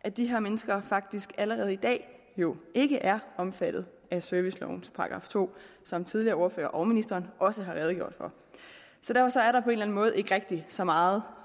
at de her mennesker faktisk allerede i dag jo ikke er omfattet af servicelovens § to som tidligere ordførere og ministeren også har redegjort for så derfor er der på en måde ikke rigtig så meget